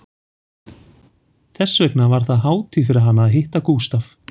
Þess vegna var það hátíð fyrir hana að hitta Gústaf